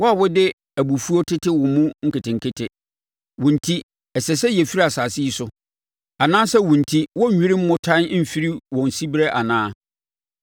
Wo a wode abufuo tete wo mu nketenkete, wo enti, ɛsɛ sɛ yɛfiri asase yi so anaasɛ wo enti, wɔnnwiri mmotan mfiri wɔn siberɛ anaa?